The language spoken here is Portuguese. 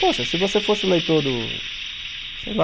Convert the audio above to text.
Poxa, se você fosse o leitor do, sei lá,